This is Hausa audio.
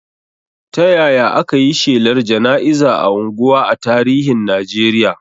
Ta yaya aka yi shelar jana'iza a unguwa a tarihin Najeriya?